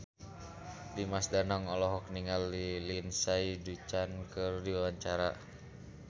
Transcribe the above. Dimas Danang olohok ningali Lindsay Ducan keur diwawancara